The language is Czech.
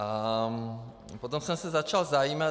A potom jsem se začal zajímat.